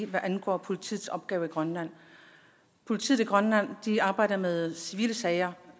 vidt angår politiets opgave i grønland politiet i grønland arbejder med civile sager